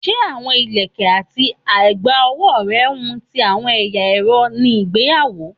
Se awọn ilẹkẹ ati a egba owo rẹ wun ti awọn ẹya ẹrọ ni igbeyawo?